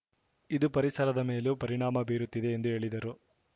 ಇದು ಪರಿಸರದ ಮೇಲೂ ಪರಿಣಾಮ ಬೀರುತ್ತಿದೆ ಎಂದು ಹೇಳಿದರು